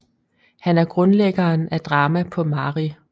Han er grundlæggeren af drama på mari